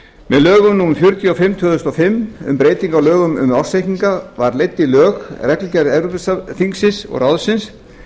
með lögum númer fjörutíu og fimm tvö þúsund og fimm um breytingu á lögum um ársreikninga var leidd í lög reglugerð evrópuþingsins og ráðsins